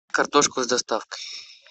картошку с доставкой